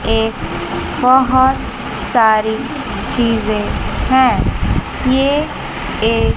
एक बहुत सारी चीजें हैं ये एक--